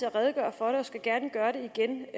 at redegøre for det og skal gerne gøre det igen